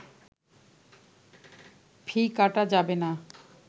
ফি কাটা যাবে না